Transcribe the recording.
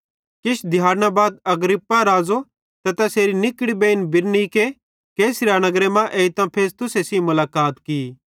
किछ दिहैड़ना बाद अग्रिप्पा राज़ो ते तैसेरी निकड़ी बेइन बिरनीके कैसरिया नगरे मां एइतां फेस्तुसे सेइं मुलाकात की